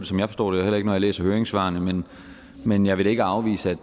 som jeg forstår det heller ikke når jeg læser høringssvarene men men jeg vil da ikke afvise